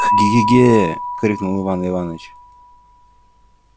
к-ге-ге крикнул иван иваныч